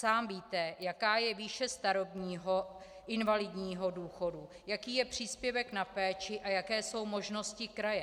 Sám víte, jaká je výše starobního, invalidního důchodu, jaký je příspěvek na péči a jaké jsou možnosti kraje.